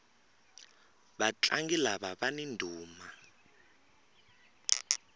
vatlangi lava vani ndhuma